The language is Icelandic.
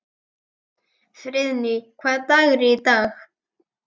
Friðný, hvaða dagur er í dag?